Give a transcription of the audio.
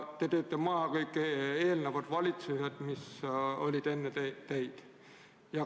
Te teete maha kõik eelnevad valitsused, mis olid enne teid.